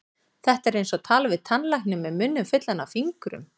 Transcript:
Þetta er eins og tala við tannlækninn með munninn fullan af fingrum.